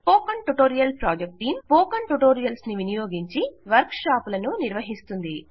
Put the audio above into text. spoken tutorial project team spoken ట్యుటోరియల్స్ను వినియోగించి వర్క్షాపులను నిర్వహిస్తుంది